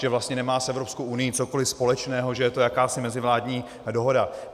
Že vlastně nemá s Evropskou unií cokoli společného, že je to jakási mezivládní dohoda.